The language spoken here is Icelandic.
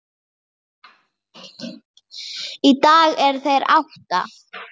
Í dag eru þeir átta.